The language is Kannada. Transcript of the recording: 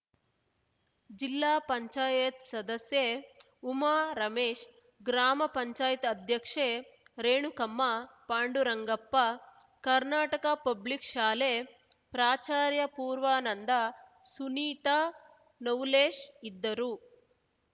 ಜಿಲ್ಲಾ ಪಂಚಾಯತಿ ಸದಸ್ಯೆಉಮಾ ರಮೇಶ್‌ ಗ್ರಾಮ ಪಂಚಾಯತಿ ಅಧ್ಯಕ್ಷೆ ರೇಣುಕಮ್ಮ ಪಾಂಡುರಂಗಪ್ಪ ಕರ್ನಾಟಕ ಪಬ್ಲಿಕ್‌ ಶಾಲೆ ಪ್ರಾಚಾರ್ಯ ಪೂರ್ವಾನಂದ ಸುನೀತಾ ನವುಲೇಶ್‌ ಇದ್ದರು